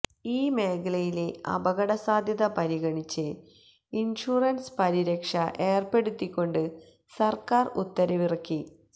ഈ മേഖലയിലെ അപകട സാധ്യത പരിഗണിച്ച് ഇന്ഷ്വറന്സ് പരിരക്ഷ ഏര്പ്പെടുത്തികൊണ്ട് സർക്കാർ ഉത്തരവിറക്കി